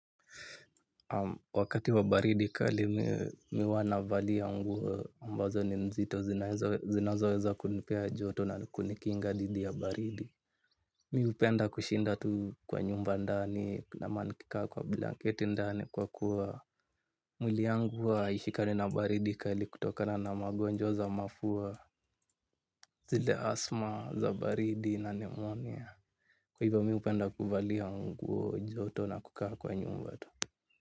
Wakati wa baridi kali mimi huwa navalia nguo ambazo ni nzito zinazoweza kunipea joto na kunikinga dhidi ya baridi. Mimi hupenda kushinda tu kwa nyumba ndani ama nikikaa kwa blanketi ndani kwa kuwa mwili yangu haishikani na baridi kali kutokana na magonjwa za mafua zile asthma za baridi na pneumonia. Kwa hivyo mimi hupenda kuvalia nguo joto na kukaa kwa nyumba tu.